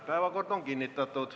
Päevakord on kinnitatud.